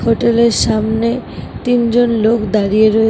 Hotel এর সামনে তিনজন লোক দাঁড়িয়ে রয়েছে-- ।